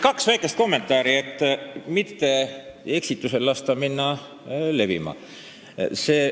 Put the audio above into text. Kaks väikest kommentaari, et mitte lasta eksitusel levima hakata.